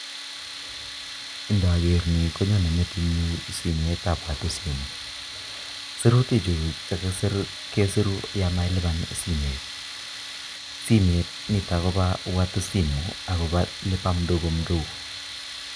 Ngaker ni konyone metitnyu simetab biikap watu sim sirutichu chekisiru kesiru yo mailiban simet. aaSimet nitok kobo watu sim akelibane mdogo mdogo